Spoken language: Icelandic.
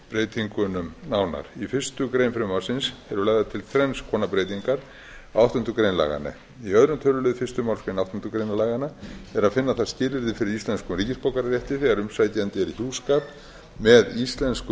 breytingunum í fyrstu grein frumvarpsins eru lagðar til þrenns konar breytingar á áttundu grein laganna í öðrum tölulið fyrstu málsgrein áttundu grein laganna er að finna þar skilyrði fyrir íslenskum ríkisborgararétti þegar umsækjandi er í hjúskap með íslenskum